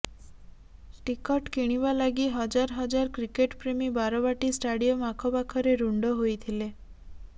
ticket କିଣିବା ଲାଗି ହଜାରହଜାର କ୍ରିକେଟପ୍ରେମୀ ବାରବାଟୀ ଷ୍ଟାଡ଼ିୟମ ଆଖପାଖରେ ରୁଣ୍ଡ ହୋଇଥିଲେ